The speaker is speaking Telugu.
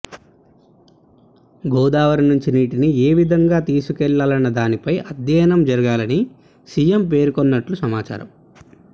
గోదావరి నుంచి నీటిని ఏ విధంగా తీసుకెళ్లాలన్న దానిపై అధ్యయనం జరగాలని సీఎం పేర్కొన్నట్లు సమాచారం